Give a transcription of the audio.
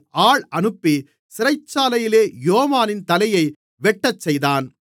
ஆள் அனுப்பி சிறைச்சாலையிலே யோவானின் தலையை வெட்டச்செய்தான்